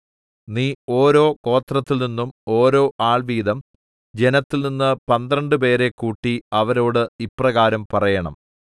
നീ ഓരോ ഗോത്രത്തിൽനിന്നും ഓരോ ആൾ വീതം ജനത്തിൽനിന്ന് പന്ത്രണ്ടുപേരെ കൂട്ടി അവരോട് ഇപ്രകാരം പറയേണം